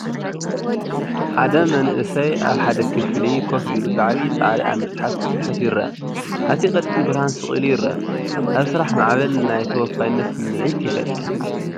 ሓደ መንእሰይ ኣብ ሓደ ክፍሊ ኮፍ ኢሉ ብዓብይ ጻዕሪ ኣብ መጽሓፍ ክጽሕፍ ይርአ። ኣብቲ ቀጢን ብርሃን ስቕ ኢሉ ይረአ፣ ኣብ ስራሕ ማዕበል ናይ ተወፋይነት ስምዒት ይፈጥር።